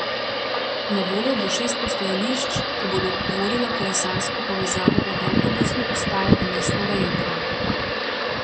Na voljo bo šest postajališč, ki bodo tvorila kolesarsko povezavo od avtobusne postaje do mestnega jedra.